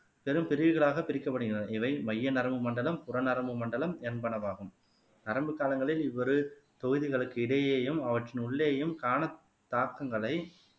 பெரும் பிரிவுகளாக பிரிக்கப்படுகின்றன இவை மைய நரம்பு மண்டலம் புறநரம்பு மண்டலம் என்பனவாகும் நரம்பு காலங்களில் இவரு தொகுதிகளுக்கு இடையேயும் அவற்றின் உள்ளேயும் காணத் தாக்கங்களை